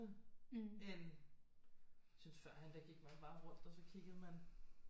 End jeg synes førhen der gik man bare rundt og så kiggede man